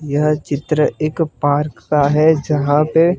यह चित्र एक पार्क का है यहां पे--